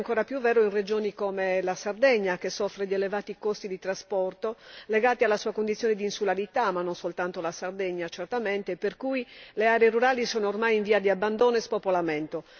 Ciò è ancora più vero in regioni come la Sardegna, che soffre di elevati costi di trasporto, legati alla sua condizione di insularità ma non soltanto la Sardegna certamente per cui le aree rurali sono ormai in via di abbandono e spopolamento.